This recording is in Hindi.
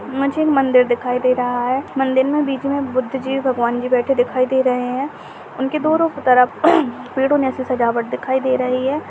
मुझे एक मंदिर दिखाई दे रहा है मंदिर में बीच में बुद्ध जी भगवान जी बैठे दिखाई दे रहे है उनके दोनो तरफ़ पेडो में ऐसी सजावट दिखाई दे रही है।